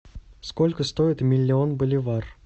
сколько стоит миллион боливар